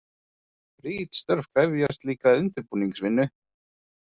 Ritstörf krefjast líka undirbúningsvinnu.